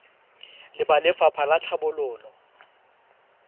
le ba lefapha la tlhabololo